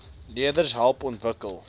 leerders help ontwikkel